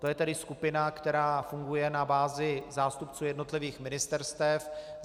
To je tedy skupina, která funguje na bázi zástupců jednotlivých ministerstev.